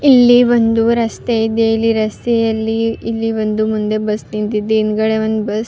ಇಲ್ಲಿ ಒಂದು ರಸ್ತೆ ಇದೆ ಇಲ್ಲಿ ರಸ್ತೆಯಲ್ಲಿ ಇಲ್ಲಿ ಒಂದು ಬಸ್ ನಿಂತಿದೆ ಹಿಂದ್ಗಡೆ ಒಂದ್ ಬಸ್ --